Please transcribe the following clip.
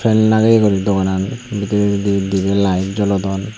fan lagiye gori doganan bidiredi dibey light jolodon.